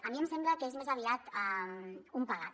a mi em sembla que és més aviat un pegat